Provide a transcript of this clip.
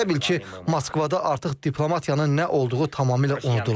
Elə bil ki, Moskvada artıq diplomatiyanın nə olduğu tamamilə unudulub.